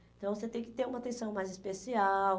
Então você tem que ter uma atenção mais especial.